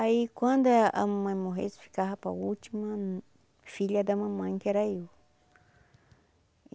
Aí, quando a mamãe morresse, ficava para a última filha da mamãe, que era eu.